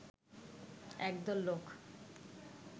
একদল লোক